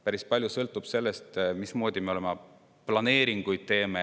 Päris palju sõltub sellest, mismoodi me oma planeeringuid teeme.